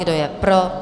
Kdo je pro?